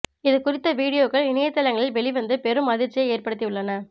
இது குறித்த வீடியோக்கள் இணையதளங்களில் வெளிவந்து பெரும் அதிர்ச்சியை ஏற்படுத்தி உள்ளன